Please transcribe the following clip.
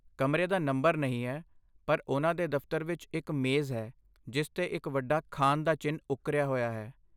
ਕਮਰੇ ਦਾ ਨੰਬਰ ਨਹੀਂ ਹੈ, ਪਰ ਉਹਨਾਂ ਦੇ ਦਫਤਰ ਵਿੱਚ ਇੱਕ ਮੇਜ਼ ਹੈ ਜਿਸ 'ਤੇ ਇੱਕ ਵੱਡਾ 'ਖਾਨ' ਦਾ ਚਿੰਨ੍ਹ ਉੱਕਰਿਆ ਹੋਇਆ ਹੈ।